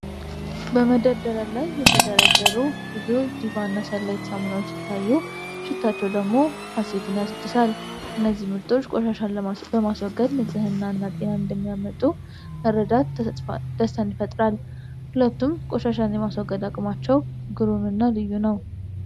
በመደርደሪያ ላይ የተደረደሩ ብዙ "ዲቫ" እና "ሰንላይት" ሳሙናዎች ሲታዩ ፤ ሽታቸው ደግሞ ሀሴትን ያድሳል:: እነዚህ ምርቶች ቆሻሻን በማስወገድ ንጽሕናንና ጤናን እንደሚያመጡ መረዳት ደስታን ይፈጥራል:: ሁለቱም ቆሻሻን የማስወገድ አቅማቸው ቅሩም እና ልዩ ነው ።